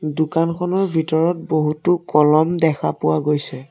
দোকানখনৰ ভিতৰত বহুতো কলম দেখা পোৱা গৈছে।